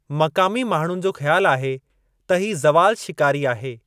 मक़ामी माण्हुनि जो ख़्यालु आहे त ही ज़वालु शिकारी आहे।